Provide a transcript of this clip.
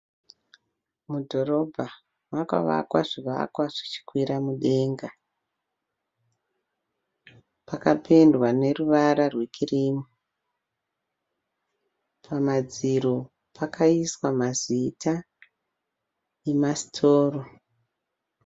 Mudhorobha makavakwa zvivakwa zvichikwira mudenga. Pakapendwa neruvara rwekirimu. Pamadziro pakaiswa mazita emasitoro.